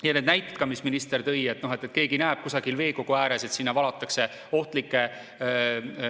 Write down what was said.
Ja need näited ka, mis minister tõi, et keegi näeb kusagil veekogu ääres, et sinna valatakse ohtlikke.